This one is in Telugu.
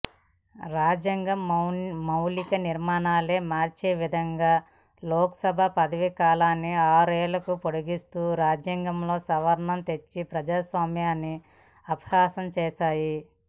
రాజ్యాంగ మౌలిక నిర్మాణాన్నే మార్చేవిధంగా లోక్సభ పదవీకాలాన్ని ఆరేళ్లకు పొడిగిస్తూ రాజ్యాంగంలో సవరణ తె చ్చి ప్రజాస్వామ్యాన్ని అపహాస్యం చేశారు